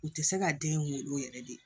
U tɛ se ka den wolo yɛrɛ de